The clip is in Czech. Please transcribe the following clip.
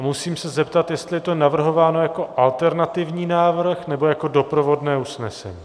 A musím se zeptat, jestli je to navrhováno jako alternativní návrh, nebo jako doprovodné usnesení.